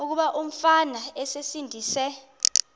kuba umfana esindise